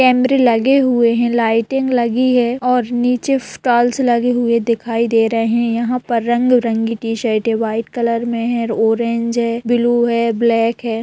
कैमरे लगे हुए है लाइटिंग लगी है और निचे टाइल्स लगे हुए दिखाई दे रहे है यहा पर रंग-बिरंगे टी-शर्टें है वाइट कलर मै है ऑरेंज है ब्लू है ब्लैक है।